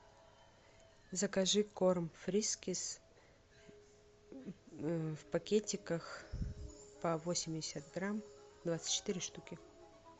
закажи корм фрискис в пакетиках по восемьдесят грамм двадцать четыре штуки